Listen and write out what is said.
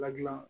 Ladilan